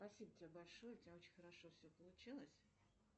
спасибо тебе большое у тебя очень хорошо все получилось